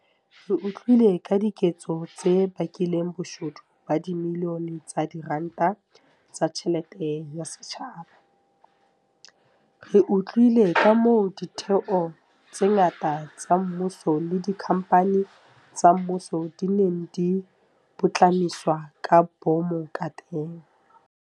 Re utlwile ka diketso tse bakileng boshodu ba dibilione tsa diranta tsa tjhelete ya setjhaba. Re utlwile kamoo ditheo tse ngata tsa mmuso le dikhamphani tsa mmuso di neng di putlamiswa ka boomo kateng.